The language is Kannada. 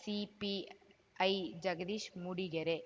ಸಿಪಿಐ ಜಗದೀಶ್‌ ಮೂಡಿಗೆರೆ